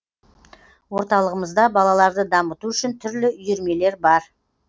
орталығымызда балаларды дамыту үшін түрлі үйірмелер бар